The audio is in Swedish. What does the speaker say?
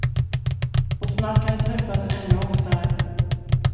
Och snart kan de träffas ännu oftare.